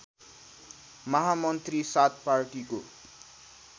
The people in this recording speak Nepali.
महामन्त्री सात पार्टीको